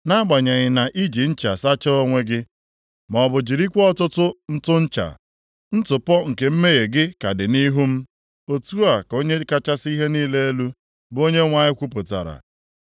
Nʼagbanyeghị na iji ncha + 2:22 Ya bụ, akanwụ sachaa onwe gị, maọbụ jirikwa ọtụtụ ntụ ncha, ntụpọ nke mmehie gị ka dị nʼihu m,” Otu a ka Onye kachasị ihe niile elu, bụ Onyenwe anyị kwupụtara.